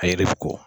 A ye ko